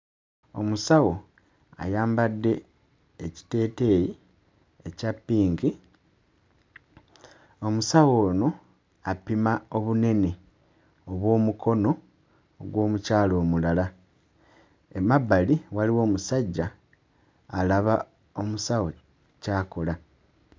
Omusawo ayambadde ekiteeteeyi ekya ppinki, omusawo ono apima obunene obw'omukono gw'omukyala omulala, emabbali waliwo omusajja alaba omusawo ky'akola.